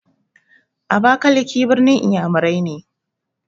Abakalaki ɓirnin iyamurai ne.